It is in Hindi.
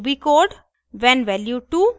ruby code when value 2